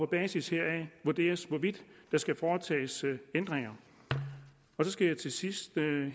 basis heraf vurderes hvorvidt der skal foretages ændringer så skal jeg til sidst